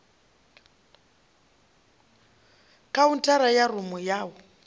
khaunthara ya rumu ya u